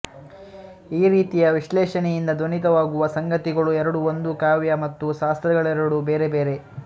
ಈ ರೀತಿಯ ವಿಶ್ಲೇಷಣೆಯಿಂದ ಧ್ವನಿತವಾಗುವ ಸಂಗತಿಗಳು ಎರಡು ಒಂದು ಕಾವ್ಯ ಮತ್ತು ಶಾಸ್ತ್ರಗಳೆರಡೂ ಬೇರೆ ಬೇರೆ